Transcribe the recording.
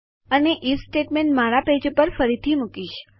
અને હું if statement મારા પેજ ઉપર ફરીથી મુકીશ